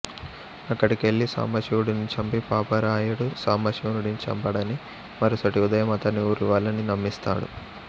అక్కడికెళ్ళి సాంబశివుడిని చంపి పాపారాయుడు సాంబశివుడిని చంపాడని మరుసటి ఉదయం అతన్ని ఊరివాళ్ళనీ నమ్మిస్తాడు